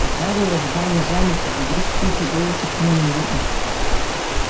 гарри в ожидании замер как вдруг тихий голос шепнул ему в ухо